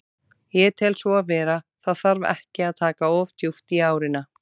Ég tel svo vera, það þarf ekki að taka of djúpt í árina.